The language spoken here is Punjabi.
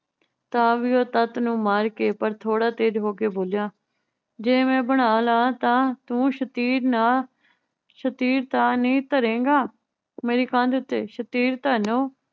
ਤਾਂ ਵੀ ਉਹ ਤੱਤ ਨੂੰ ਮਾਰ ਕੇ ਪਰ ਥੋੜਾ ਤੇਜ਼ ਹੋ ਕੇ ਬੋਲਿਆ, ਜੇ ਮੈ ਬਣਾ ਲਾਂ ਤਾਂ ਤੂੰ ਸ਼ਤੀਰ ਨਾ ਸ਼ਤੀਰ ਤਾਂ ਨੀ ਧਰੇਂਗਾ ਮੇਰੀ ਕੰਧ ਤੇ? ਸ਼ਤੀਰ ਧਾਨੁ